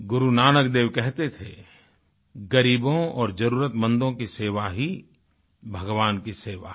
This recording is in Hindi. गुरु नानक देव कहते थे गरीबों और जरुरतमंदों की सेवा ही भगवान की सेवा है